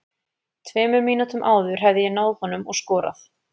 Tveimur mínútum áður hefði ég náð honum og skorað.